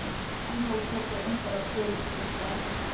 En þeir tóku einhverjar prufur til að staðfesta það.